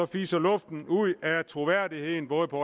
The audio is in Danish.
fiser luften ud af troværdigheden og det